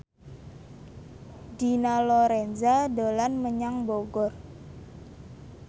Dina Lorenza dolan menyang Bogor